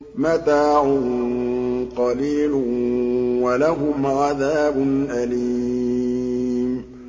مَتَاعٌ قَلِيلٌ وَلَهُمْ عَذَابٌ أَلِيمٌ